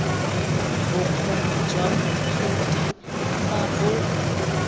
bokgoni jwa moithuti fa bo